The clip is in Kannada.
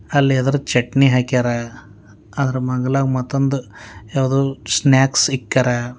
ಅಲ್ಲಿ ಯೆದದ್ರು ಚಟ್ನಿ ಹಾಕ್ಯರ ಅದರ ಮಗ್ಲಾಗ್ ಮತ್ತೊಂದ್ ಯಾವ್ದು ಸ್ನ್ಯಾಕ್ಸ್ ಇಕ್ಕ್ಯರ.